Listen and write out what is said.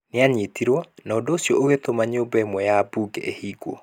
Nĩ aanyitirũo, na ũndũ ũcio ũgĩtũma nyũmba ĩmwe ya mbunge ĩhingwo.